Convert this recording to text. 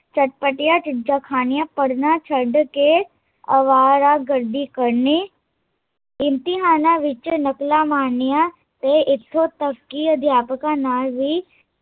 ਚਟਪਟੀਆਂ ਚੀਜ਼ਾਂ ਖਾਣੀਆ ਤੇ ਪੜਨਾ ਛੱਡ ਕੇ ਅਵਾਰਾਗਰਦੀ ਕਰਨੀ ਇਮਤਿਹਾਨਾਂ ਵਿੱਚ ਨਕਲਾਂ ਮਾਰਨੀਆ ਤੇ ਇੱਥੋਂ ਤਕ ਕੀ ਅਧਿਆਪਕਾਂ ਨਾਲ਼ ਵੀ